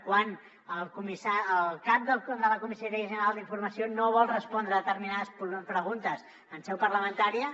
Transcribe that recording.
quan el cap de la comissaria general d’informació no vol respondre determinades preguntes en seu parlamentària